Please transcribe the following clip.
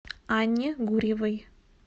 анне гурьевой